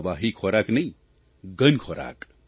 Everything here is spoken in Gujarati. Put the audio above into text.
પ્રવાહી ખોરાક નહીં ઘન ખોરાક